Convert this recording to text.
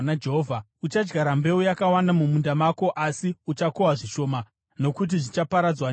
Uchadyara mbeu yakawanda mumunda mako asi uchakohwa zvishoma, nokuti zvichaparadzwa nemhashu.